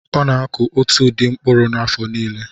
Ọ na-akụ otu ụdị mkpụrụ afọ niile.